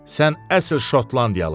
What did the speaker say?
Sən əsl Şotlandiyalısan.